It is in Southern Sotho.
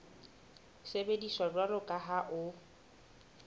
sebediswa jwalo ka ha ho